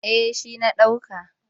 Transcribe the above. Eh shi na ɗauka.